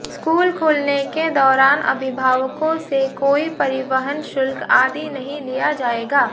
school खुलने के दौरान अभिभावकों से कोई परिवहन शुल्क आदि नहीं लिया जाएगा